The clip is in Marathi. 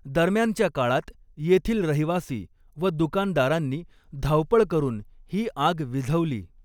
दरम्यानच्या काळात येथील रहिवासी व दुकानदारांनी धावपळ करून ही आग विझवली.